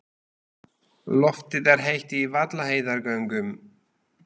Loftið er heitt í Vaðlaheiðargöngum.